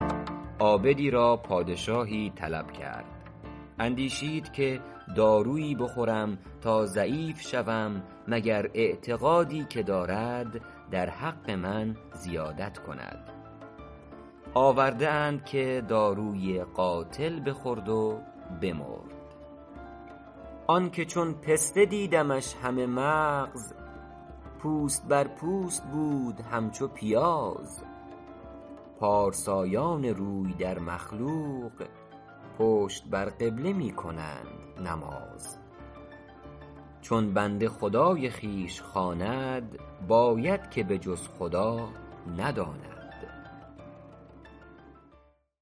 عابدی را پادشاهی طلب کرد اندیشید که دارویی بخورم تا ضعیف شوم مگر اعتقادی که دارد در حق من زیادت کند آورده اند که داروی قاتل بخورد و بمرد آن که چون پسته دیدمش همه مغز پوست بر پوست بود همچو پیاز پارسایان روی در مخلوق پشت بر قبله می کنند نماز چون بنده خدای خویش خواند باید که به جز خدا نداند